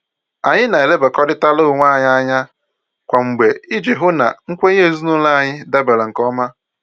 Anyị na-elebakọrịtara onwe anyị anya kwa mgbe iji hụ na nkwenye ezinụlọ anyị dabara nke ọma